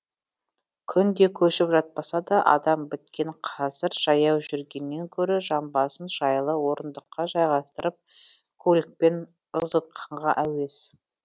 күнде көшіп жатпаса да адам біткен қазір жаяу жүргеннен гөрі жамбасын жайлы орындыққа жайғастырып көлікпен ызғытқанға әуес